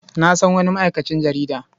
Na san wani ma'aikacin jarida.